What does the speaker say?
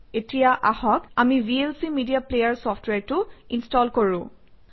এতিয়া আহক আমি ভিএলচি মেডিয়া প্লেয়াৰ চফট্ৱেৰটো ইনষ্টল কৰোঁ